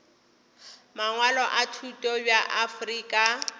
mangwalo a thuto bja afrika